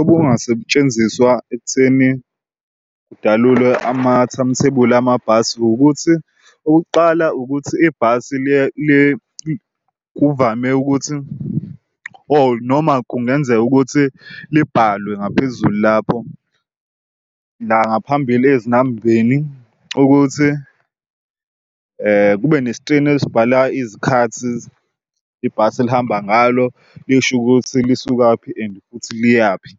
obungasetshenziswa ekutheni kudalule ama-time thebuli amabhasi ukuthi okokuqala ukuthi ibhasi kuvame ukuthi or noma kungenzeka ukuthi libhalwe ngaphezulu lapho. La ngaphambili ezinambeni ukuthi kube neskrini esibhala izikhathi ibhasi elihamba ngalo, lisho ukuthi lisukaphi and futhi liyaphi.